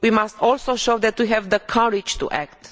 We must also show that we have the courage to act.